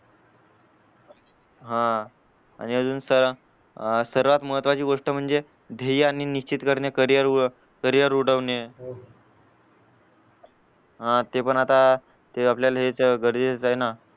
हा आणि अजून सर्वात महत्वाची गोष्ट म्हणजे ध्येय आणि निश्चित करिअर उडवणे हा ते पण आता ते आपल्याला हे गरजेचं हाय ना